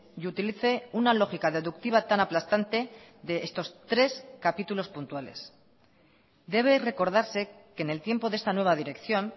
y utilice una lógica deductiva tan aplastante de estos tres capítulos puntuales debe recordarse que en el tiempo de esta nueva dirección